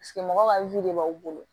mɔgɔw ka de b'aw bolo